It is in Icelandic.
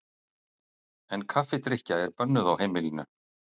En kaffidrykkja er bönnuð á heimilinu.